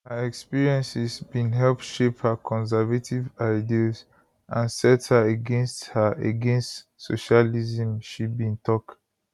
her experiences bin help shape her conservative ideals and set her against her against socialism she bin tok